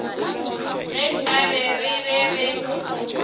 ge nkabe re be re